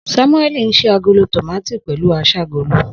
Samueli n ṣii agolo tomati pẹlu aṣágolo.